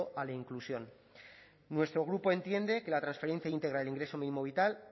a la inclusión nuestro grupo entiende que la transferencia íntegra del ingreso mínimo vital